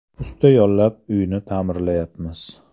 Usta yollab, uyni ta’mirlatayapmiz.